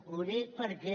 ho dic perquè